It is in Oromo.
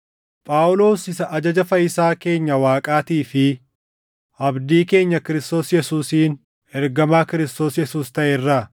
Phaawulos isa ajaja fayyisaa keenya Waaqaatii fi abdii keenya Kiristoos Yesuusiin ergamaa Kiristoos Yesuus taʼe irraa,